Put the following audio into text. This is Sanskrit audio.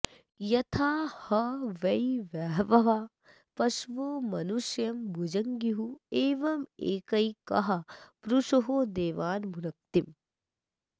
य॒था ह वै॒ बह॒वः पश॒वो मनुष्यं॒ भुङ्ज्युः॒ एव॒मे॒कैकः पु॒रुषो देवा॒न्भुनक्ति